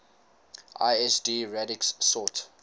lsd radix sort